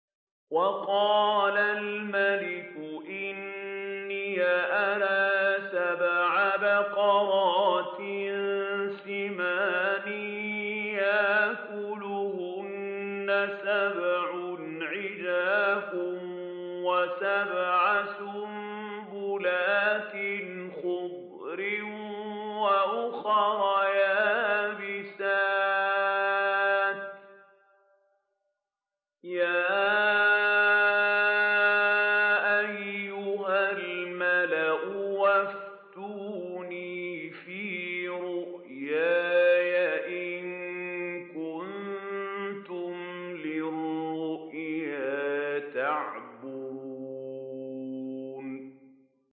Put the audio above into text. وَقَالَ الْمَلِكُ إِنِّي أَرَىٰ سَبْعَ بَقَرَاتٍ سِمَانٍ يَأْكُلُهُنَّ سَبْعٌ عِجَافٌ وَسَبْعَ سُنبُلَاتٍ خُضْرٍ وَأُخَرَ يَابِسَاتٍ ۖ يَا أَيُّهَا الْمَلَأُ أَفْتُونِي فِي رُؤْيَايَ إِن كُنتُمْ لِلرُّؤْيَا تَعْبُرُونَ